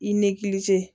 I nigilize